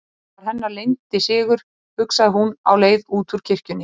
Það var hennar leyndi sigur, hugsaði hún á leið út úr kirkjunni.